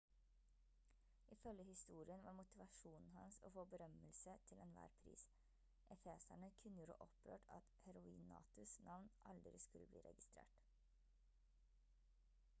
ifølge historien var motivasjonen hans å få berømmelse til enhver pris efeserne kunngjorde opprørt at heroinatus navn aldri skulle bli registrert